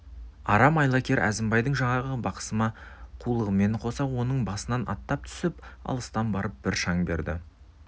арам айлакер әзімбайдың жаңағы бықсыма қулығымен қоса оның басынан аттап түсіп алыстан барып бір шаң берді